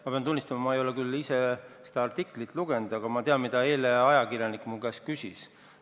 Ma pean tunnistama, et ma ei ole ise seda artiklit lugenud, aga ma tean, mida eile ajakirjanik minu käest küsis.